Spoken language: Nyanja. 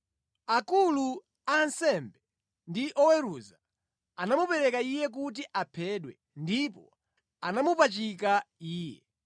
Akulu a ansembe ndi oweruza anamupereka Iye kuti aphedwe, ndipo anamupachika Iye;